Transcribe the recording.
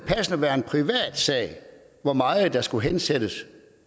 være en privatsag hvor meget der skulle hensættes